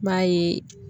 N b'a ye